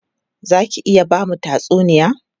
Za ki iya ba mu tatsuniya?